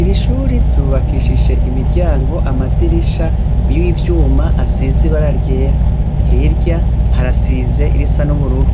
Irishure ry'ubakishije imiryango, amadirisha niryuma asize ibara ryera hirya harasize irisa n,ubururu